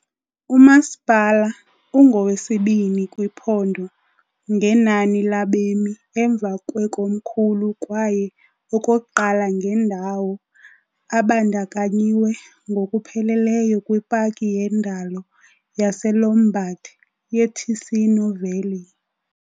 Umasipala ungowesibini kwiphondo ngenani labemi emva kwekomkhulu kwaye okokuqala ngendawo, abandakanyiwe ngokupheleleyo kwipaki yendalo yaseLombard yeTicino Valley .